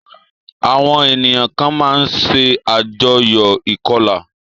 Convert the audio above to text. Àwọn ènìyàn kan máa ń ṣe àjọyò ìkọlà.